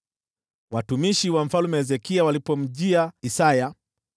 Maafisa wa Mfalme Hezekia walipofika kwa Isaya,